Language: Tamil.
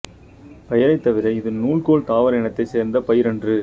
பெயரை தவிர இது நூல்கோல் தாவர இனத்தைச் சேர்ந்த பயிரன்று